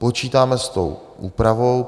Počítáme s tou úpravou.